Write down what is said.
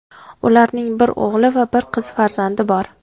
Ularning bir o‘g‘il va bir qiz farzandi bor.